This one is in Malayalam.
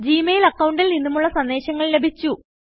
ജി മെയിൽ അക്കൌണ്ടിൽ നിന്നുമുള്ള സന്ദേശങ്ങൾ ലഭിച്ചു